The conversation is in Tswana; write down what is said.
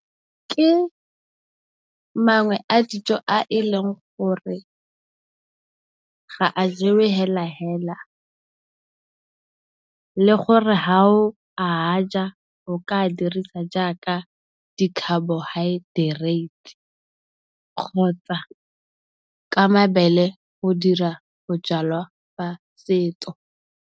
Ke mangwe a dijo a e leng gore, ga a jewe hela hela. Le gore ha o a ja o ka dirisa jaaka dikhabohaetereite kgotsa ka mabele go dira bojalwa ba setso.